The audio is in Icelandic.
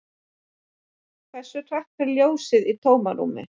Hversu hratt fer ljósið í tómarúmi?